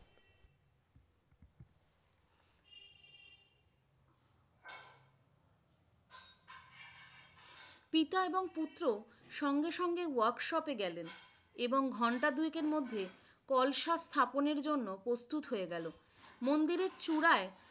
পিতা এবং পুত্র সঙ্গে সঙ্গে workshop এ গেলেন এবং ঘণ্টা দুই এক এর মধ্যে কলসা স্থাপনের জন্য প্রস্তুত হয়ে গেল মন্দিরের চূড়ায়